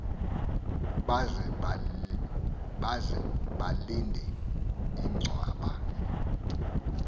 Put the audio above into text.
baze balinde inchwaba